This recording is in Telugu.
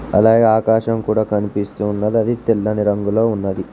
అలాగే ఆకాశం కూడా కన్పిస్తూ ఉన్నది అది తెల్లని రంగులో ఉన్నది.